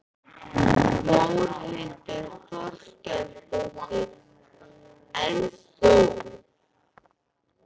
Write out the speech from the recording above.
Þórhildur Þorkelsdóttir: En þú?